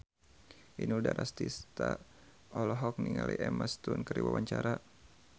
Inul Daratista olohok ningali Emma Stone keur diwawancara